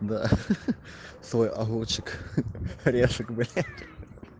да свой огурчик орешек блять